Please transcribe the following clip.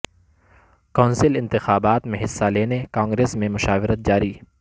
council انتخابات میں حصہ لینے کانگریس میں مشاورت جاری